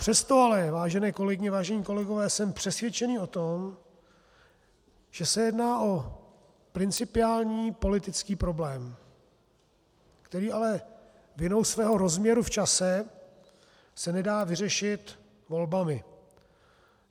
Přesto ale, vážené kolegyně, vážení kolegové, jsem přesvědčen o tom, že se jedná o principiální politický problém, který ale vinou svého rozměru v čase se nedá vyřešit volbami.